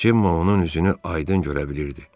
Cemma onun üzünü aydın görə bilirdi.